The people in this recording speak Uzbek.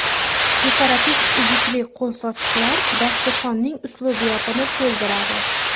Dekorativ uzukli qo‘l sochiqlar dasturxonning uslubiyatini to‘ldiradi.